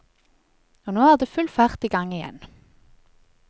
Og nå er det full fart gang igjen.